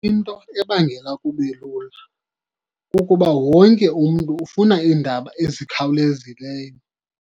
Into ebangela kube lula kukuba wonke umntu ufuna iindaba ezikhawulezileyo.